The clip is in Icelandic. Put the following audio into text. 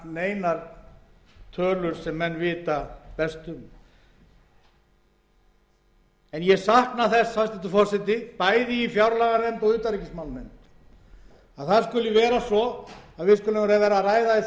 sem menn vita best um en ég sakna þess bæði í fjárlaganefnd og utanríkismálanefnd að það skuli vera svo að við skulum vera að ræða einn stærsta vanda sem íslenska þjóðin stendur